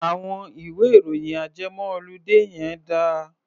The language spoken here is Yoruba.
Àwọn ìwé-ìròyìn ajẹmọ-oludé yẹn dà?